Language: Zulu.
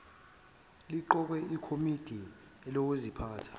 liqoke ikomidi elizophatha